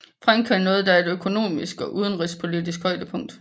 Frankrig nåede da et økonomisk og udenrigspolitisk højdepunkt